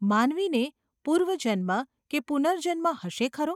માનવીને પૂર્વજન્મ કે પુનર્જન્મ હશે ખરો?